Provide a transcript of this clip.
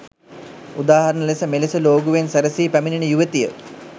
උදාහරන ලෙස මෙලෙස ලෝගුවෙන් සැරසී පැමිනෙන යුවතිය